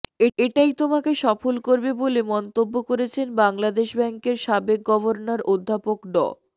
এটাই তোমাকে সফল করবে বলে মন্তব্য করেছেন বাংলাদেশ ব্যাংকের সাবেক গভর্নর অধ্যাপক ড